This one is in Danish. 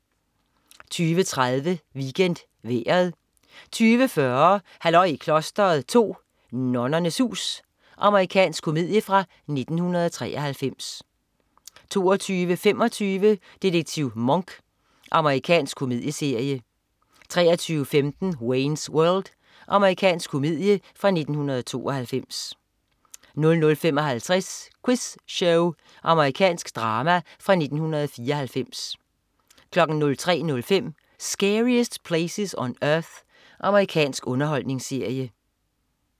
20.30 WeekendVejret 20.40 Halløj i klosteret 2. Nonnernes hus. Amerikansk komedie fra 1993 22.25 Detektiv Monk. Amerikansk krimikomedieserie 23.15 Wayne's World. Amerikansk komedie fra 1992 00.55 Quiz Show. Amerikansk drama fra 1994 03.05 Scariest Places on Earth. Amerikansk underholdningsserie